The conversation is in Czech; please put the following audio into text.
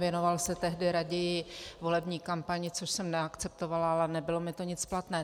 Věnoval se tehdy raději volební kampani, což jsem neakceptovala, ale nebylo mi to nic platné.